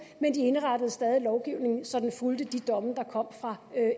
men de indrettede stadig lovgivningen så den fulgte de domme der kom fra